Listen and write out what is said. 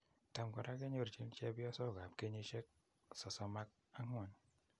Tam en kora kenyorchin chepyosokap kenyisiek 34.